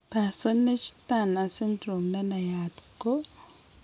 Parsonage Turner syndrome nenayat kora ko